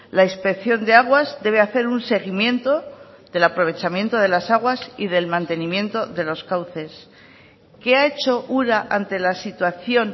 la inspección de aguas debe hacer un seguimiento del aprovechamiento de las aguas y del mantenimiento de los cauces qué ha hecho ura ante la situación